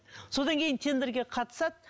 содан кейін тендерге қатысады